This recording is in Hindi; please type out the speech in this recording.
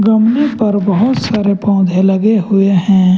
कम्मे पर बहोत सारे पौधे लगे हुए हैं।